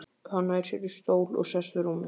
Hann nær sér í stól og sest við rúmið.